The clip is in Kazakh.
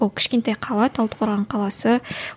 ол кішкентай қала талдықорған қаласы